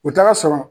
U t'a sɔrɔ